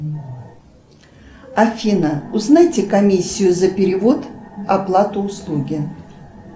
афина узнайте комиссию за перевод оплату услуги